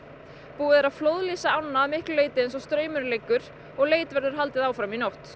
búið er að ána eins og straumurinn liggur og leit verður haldið áfram í nótt